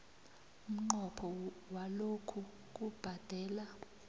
umnqopho walokhu kubhadela